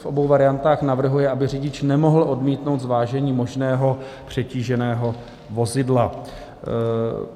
V obou variantách navrhuje, aby řidič nemohl odmítnout zvážení možného přetíženého vozidla.